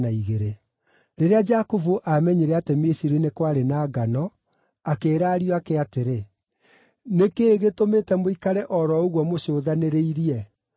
Rĩrĩa Jakubu aamenyire atĩ Misiri nĩ kwarĩ na ngano, akĩĩra ariũ ake atĩrĩ, “Nĩ kĩĩ gĩtũmĩte mũikare o ro ũguo mũcũthanĩrĩirie?”